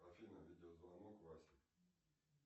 афина видеозвонок васе